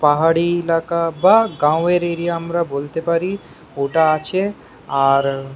পাহাড়ি এলাকা বা এটা গাও এর এরিয়া আমরা বলতে পারি ওটা আছে আর--